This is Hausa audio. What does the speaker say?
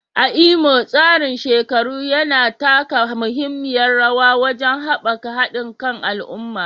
A Imo, tsarin shekaru yana taka muhimmiyar rawa wajen haɓaka haɗin kan al'umma